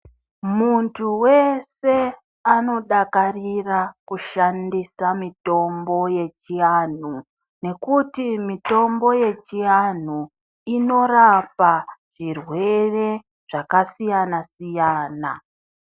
Muntu weshe anodakarira kushandisa mitombo yechiantu ngekuti mitombo yechiantu inorapa zvirwere zvakasiyana siyana.